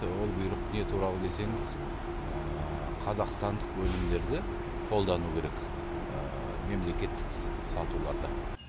ол бұйрық не туралы десеңіз қазақстандық өнімдерді қолдану керек мемлекеттік сатуларда